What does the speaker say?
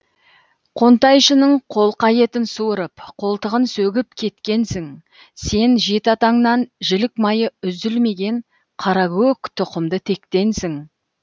қонтайшының қолқа етін суырып қолтығын сөгіп кеткенсің сен жеті атаңнан жілік майы үзілмеген қаракөк тұқымды тектенсің